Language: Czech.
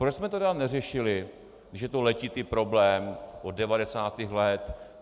Proč jsme to tedy neřešili, když je to letitý problém od 90. let?